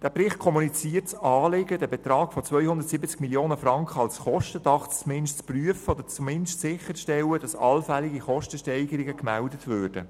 In deren Bericht wird das Anliegen geäussert, den Betrag von 270 Mio. Franken als Kostendach zumindest zu prüfen oder sicherzustellen, dass allfällige Kostensteigerungen gemeldet würden.